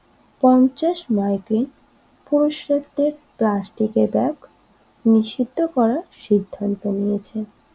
পঞ্চাশ মাইক্রন পুরুষত্বের প্লাস্টিকের ব্যাগ নিষিদ্ধ করার সিদ্ধান্ত নিয়েছে